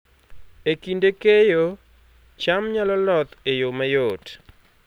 E kinde keyo, cham nyalo loth e yo mayot